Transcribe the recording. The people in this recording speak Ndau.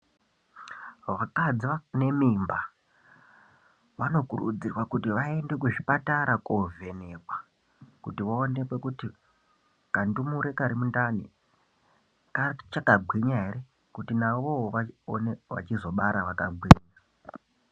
Vakadzi vane mimba vanokurudzirwa kuti vaende kuzvipatara kovhenekwa kuti vaonekwe kuti kandumure Kari mundani kachakagwinya ere kuti navowo vaonekwe vachizobara vakagwinya.